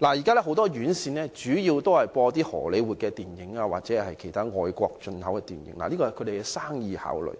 現時很多院線主要播放荷李活電影或其他外國進口電影，這是業界的生意考慮，